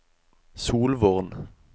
Solvorn